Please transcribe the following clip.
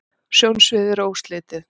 sjónsviðið er óslitið